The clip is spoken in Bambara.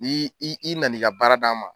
Ni i i na n'i ka baara d'an ma.